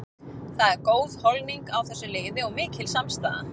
Það er góð holning á þessu liði og mikil samstaða.